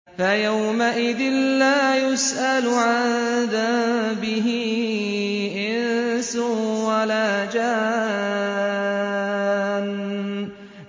فَيَوْمَئِذٍ لَّا يُسْأَلُ عَن ذَنبِهِ إِنسٌ وَلَا جَانٌّ